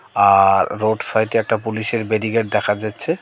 আর road সাইডে একটা পুলিশের ব্যারিকেড দেখা যাচ্ছে।